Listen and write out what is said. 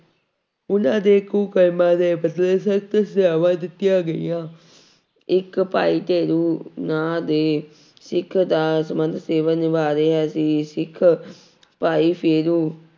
ਉਹਨਾਂ ਦੇ ਕੁਕਰਮਾਂ ਦੇ ਬਦਲੇ ਸਖ਼ਤ ਸਜ਼ਾਵਾਂ ਦਿੱਤੀਆਂ ਗਈਆਂ, ਇੱਕ ਭਾਈ ਫੇਰੂ ਨਾਂ ਦੇ ਸਿੱਖ ਦਸਵੰਧ ਸੇਵਾ ਨਿਭਾ ਰਿਹਾ ਸੀ, ਸਿੱਖ ਭਾਈ ਫੇਰੂ